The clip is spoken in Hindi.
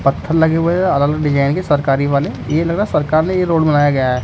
पत्थर लगे हुए है अलग अलग डिजाइन के सरकारी वाले ये लगा सरकार ने ये रोड बनाया गया है।